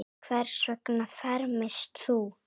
Hvers vegna fermist þú?